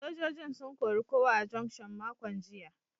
Sojojin sun kori kowa a juction makon jiya.